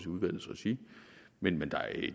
udvalgets regi men